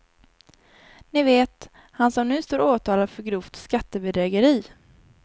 Ni vet, han som nu står åtalad för grovt skattebedrägeri.